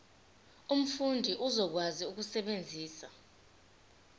umfundi uzokwazi ukusebenzisa